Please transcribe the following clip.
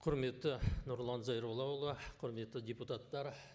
құрметті нұрлан зайроллаұлы құрметті депутаттар